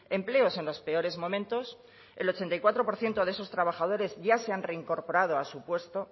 empleos en los peores momentos el ochenta y cuatro por ciento de esos trabajadores ya se han reincorporado a su puesto